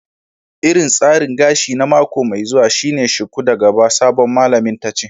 Irin tsarin gashi na mako mai zuwa shine shuku da gaba, sabon malamin tace.